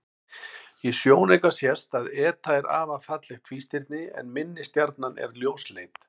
Í sjónauka sést að eta er afar fallegt tvístirni en minni stjarnan er ljósleit.